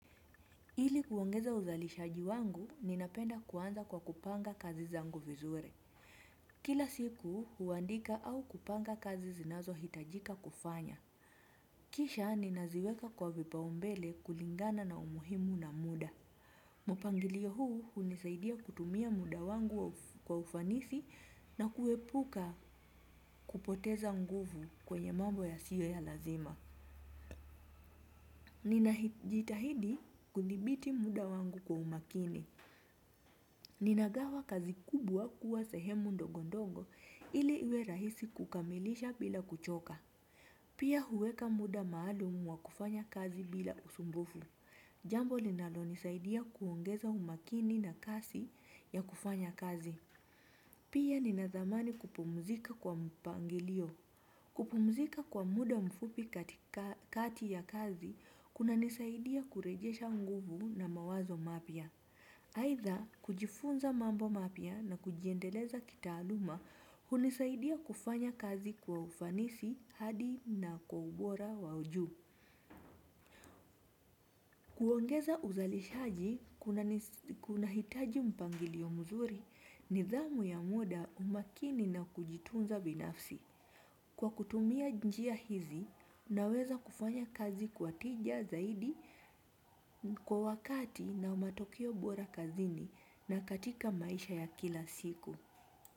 Ili kuongeza uzalishaji wangu, ninapenda kuanza kwa kupanga kazi zangu vizuri. Kila siku, huandika au kupanga kazi zinazo hitajika kufanya. Kisha, ninaziweka kwa vipa umbele kulingana na umuhimu na muda. Mupangilio huu hunisaidia kutumia muda wangu kwa ufanisi na kuepuka kupoteza nguvu kwenye mambo ya siyo ya lazima. Ninajitahidi kudhibiti muda wangu kwa umakini. Ninagawa kazi kubwa kuwa sehemu ndogo ndongo ili iwe rahisi kukamilisha bila kuchoka. Pia huweka muda maalumu wa kufanya kazi bila usumbufu. Jambo linalo nisaidia kuongeza umakini na kasi ya kufanya kazi. Pia ninathamani kupumzika kwa mpangilio. Kupumzika kwa muda mfupi katika kati ya kazi kuna nisaidia kurejesha nguvu na mawazo mapya. Haitha kujifunza mambo mapya na kujiendeleza kitaaluma hunisaidia kufanya kazi kwa ufanisi hadi na kwa ubora wa ujuu. Kuongeza uzalishaji kuna hitaji mpangilio muzuri nidhamu ya muda umakini na kujitunza binafsi. Kwa kutumia njia hizi, unaweza kufanya kazi kwa tija zaidi kwa wakati na matokeo bora kazini na katika maisha ya kila siku.